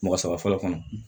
Mɔgɔ saba fɔlɔ kɔnɔ